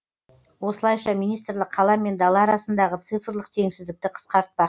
осылайша министрлік қала мен дала арасындағы цифрлық теңсіздікті қысқартпақ